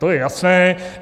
To je jasné.